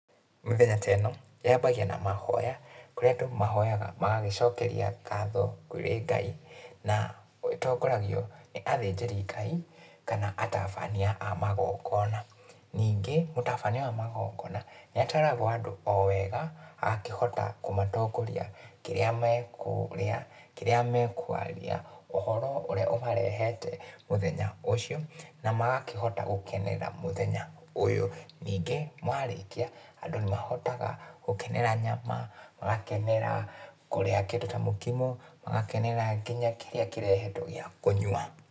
Mĩthenya ta ĩno, yambagia na mahoya, kũria andũ mahoyaga magagĩcokeria ngatho kũrĩ Ngai, na ĩtongoragio nĩ athĩnjĩri Ngai, kana atabania a magongona, ningĩ, mũtabania wa magongona, nĩ atwaraga andũ o wega, agakĩhota kũmatongoria kĩrĩa mekũrĩa, kĩrĩa mekwaria, ũhoro ũrĩa ũmarehete mũthenya ũcio, na magakĩhota gũkenerera mũthenya ũyũ, ningĩ marĩkia, andũ nĩ mahotaga gũkenera nyama, magakenera kũrĩa kĩndũ ta mũkimo, magakenerera nginya kĩrĩa kĩrehetwo gĩa kũnyua.